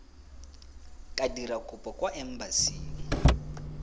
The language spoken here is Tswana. ka dira kopo kwa embasing